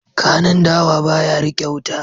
Kanun dawa ba ya riƙe wuta.